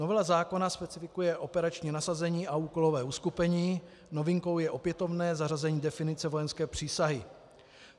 Novela zákona specifikuje operační nasazení a úkolové uskupení, novinkou je opětovné zařazení definice vojenské přísahy.